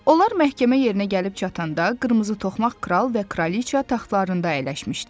Onlar məhkəmə yerinə gəlib çatanda qırmızı toxmaq kral və kraliça taxtlarında əyləşmişdilər.